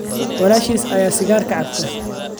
Walaashii ayaa sigaarka cabtaa